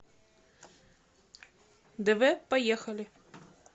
дв поехали